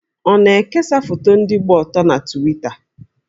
Ọ na-ekesa foto ndị gba ọtọ na Twita?